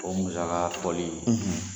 O musaka fɔli